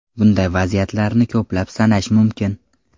Bunday vaziyatlarni ko‘plab sanash mumkin.